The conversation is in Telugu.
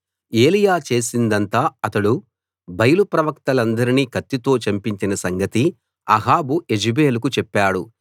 ఏలీయా చేసిందంతా అతడు బయలు ప్రవక్తలందరినీ కత్తితో చంపించిన సంగతీ అహాబు యెజెబెలుకు చెప్పాడు